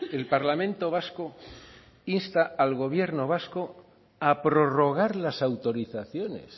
el parlamento vasco insta al gobierno vasco a prorrogar las autorizaciones